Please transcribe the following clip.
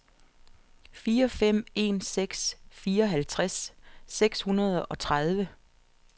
fire fem en seks fireoghalvtreds seks hundrede og tredive